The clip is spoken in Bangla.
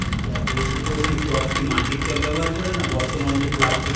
আচ্ছা এইগুলো কী tub কী মাটির tub ব্যবহার করেন না বর্তমানে যে plastic